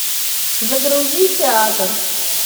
загрузи театр